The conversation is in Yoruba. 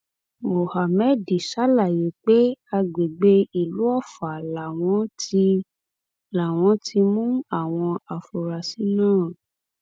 mohammed ṣàlàyé pé àgbègbè ìlú ọfà làwọn ti làwọn ti mú àwọn afurasí náà